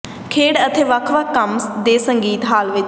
ਖੇਡ ਅਤੇ ਵੱਖ ਵੱਖ ਕੰਮ ਦੇ ਸੰਗੀਤ ਹਾਲ ਵਿਚ